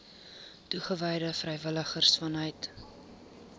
toegewyde vrywilligers vanuit